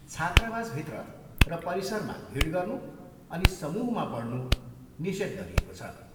छात्रावासभित्र र परिसरमा भिड गर्नु अनि समूहमा पढ्नु निषेध गरिएको छ।